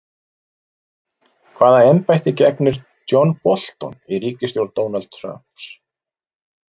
Hvaða embætti gegnir John Bolton í ríkisstjórn Donalds Trump?